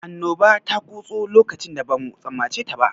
Annoba ta kutso lokacin da bamu tsammaceta ba.